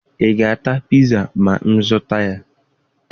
Ị ga-ata piza ma m zụta ya?